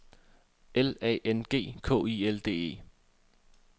L A N G K I L D E